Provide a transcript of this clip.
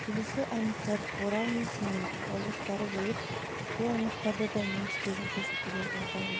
келесі аймақтар орал мен семей облыстары болып бұл аймақтарда да немістердің көшіп келуі байқалған